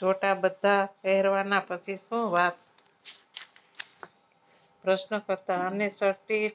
જોતા બધા પહેરવાના પછી શું વાત પ્રશ્ન કરતા અને સસ્તી